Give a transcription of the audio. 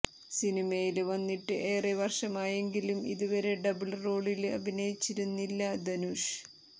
സിനിമയില് വന്നിട്ട് ഏറെ വര്ഷമായെങ്കിലും ഇതുവരെ ഡബിള് റോളില് അഭിനയിച്ചിരുന്നില്ല ധനുഷ്